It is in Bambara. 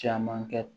Caman kɛ